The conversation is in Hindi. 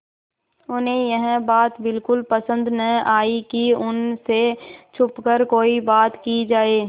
उन्हें यह बात बिल्कुल पसन्द न आई कि उन से छुपकर कोई बात की जाए